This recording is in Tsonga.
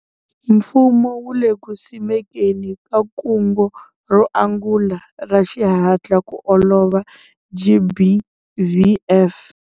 Mfumo wu le ku simekeni ka kungu ro angula ra xihatla ku ololova GBVF.